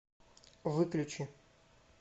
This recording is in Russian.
выключи